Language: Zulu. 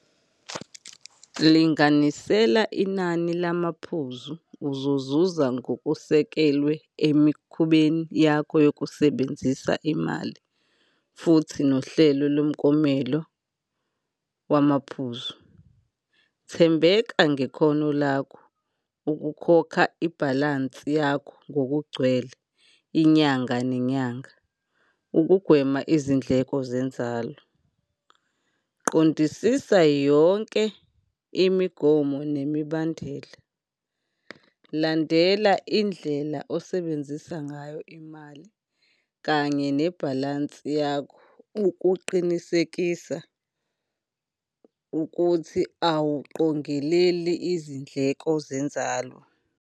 Linganisela inani lamaphuzu, uzozuza ngokusekelwe emikhubeni yakho yokusebenzisa imali, futhi nohlelo lomklomelo wamaphuzu. Thembeka ngekhono lakho ukukhokha ibhalansi yakho ngokugcwele inyanga nenyanga, ukugwema izindleko zenzalo. Qondisisa yonke imigomo nemibandela. Landela indlela osebenzisa ngayo imali kanye nebhalansi yakho ukuqinisekisa ukuthi awuqongeleli izindleko zenzalo.